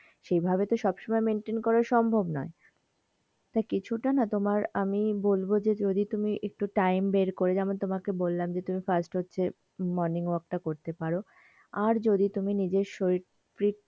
সে ভাবে তো সবসমই maintain করা সম্বভ নয় তা কিছু তা না তোমার আমি বলবো যে আমি যদি একটু time বের করে যেমন তোমাকে বললাম যে তুমি first হচ্ছে morning walk টা করতে পারো আর যদি নিজের শরীর প্রীত,